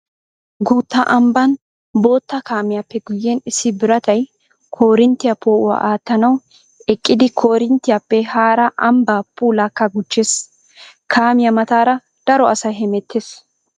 Guutta ambban bootta kaamiyappe guyen issi biratay koorinttiya poo'uwaa aatanawu eqqiddi koorinttiyappe hara ambba puullakka gujees. Kaamiya mataara daro asay hemetees.